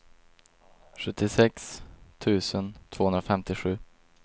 sjuttiosex tusen tvåhundrafemtiosju